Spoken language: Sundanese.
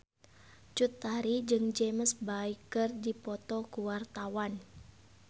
Cut Tari jeung James Bay keur dipoto ku wartawan